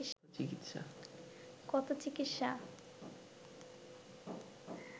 কত চিকিৎসা